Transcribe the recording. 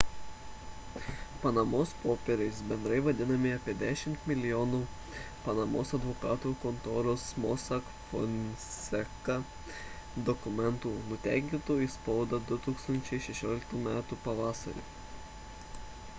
panamos popieriais bendrai vadinami apie dešimt milijonų panamos advokatų kontoros mossack fonseca dokumentų nutekintų į spaudą 2016 metų pavasarį